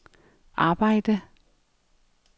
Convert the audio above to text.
arbejde